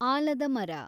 ಆಲದ ಮರ